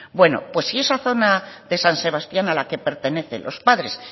bueno pues si esa zona de san sebastián a la que pertenece los padres